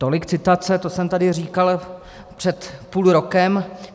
Tolik citace, to jsem tady říkal před půl rokem.